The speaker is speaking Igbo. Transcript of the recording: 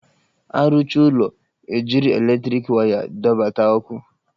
A rụcha ụlọ, e jiri eletriki waya dọbata ọkụ